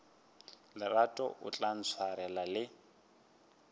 lerato o tla ntshwarela le